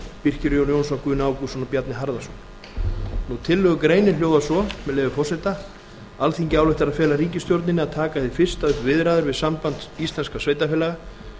birkir jón jónsson guðni ágústsson og bjarni harðarson tillögugreinin hljóðar svo með leyfi forseta alþingi ályktar að fela ríkisstjórninni að taka hið fyrsta upp viðræður við samband íslenskra sveitarfélaga